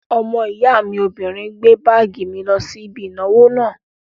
Ọmọ ìyá obìnrin gbé báàgì mi lọ sí ibi ìnáwó náà